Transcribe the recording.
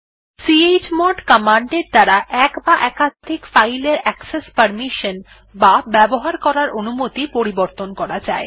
chmod command এর দ্বারা এক বা একাধিক ফাইল এর অ্যাকসেস পারমিশন বা ব্যবহার করার অনুমতি পরিবর্তন করা যায়